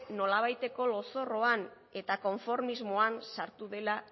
nolabaiteko lozorroan eta konformismoan sartu dela